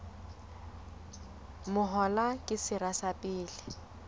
mahola ke sera sa pele